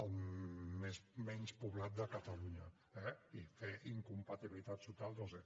el menys poblat de catalunya eh i fer incompatibilitats totals no ho sé